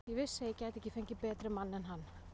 Ég vissi að ég gæti ekki fengið betri mann en hann.